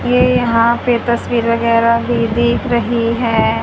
ये यहां पे तस्वीर वगैरा भी दिख रही है।